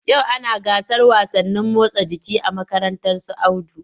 Yau ana gasar wasannin motsa jiki a makarantar su Audu.